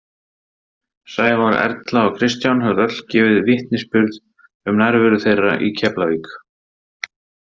Sævar, Erla og Kristján höfðu öll gefið vitnisburði um nærveru þeirra í Keflavík.